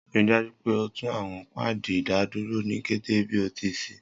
Rii daju pe o tun awọn paadi idaduro ni kete bi o ti ṣee!